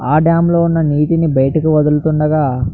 ఆ డామ్ లో ఉన్న నీటిని బయటకి వదులుతుండగా --